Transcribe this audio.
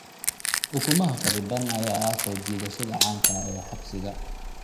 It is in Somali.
Ukumaha kharriban ayaa ah soo jiidashada caanka ah ee xisbiga.